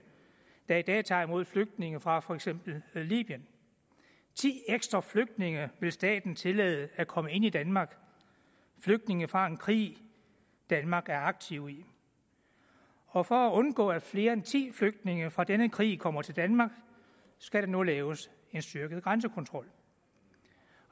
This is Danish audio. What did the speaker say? der i dag tager imod flygtninge fra for eksempel libyen ti ekstra flygtninge vil staten tillade at komme ind i danmark flygtninge fra en krig danmark er aktiv i og for at undgå at flere end ti flygtninge fra denne krig kommer til danmark skal der nu laves en styrket grænsekontrol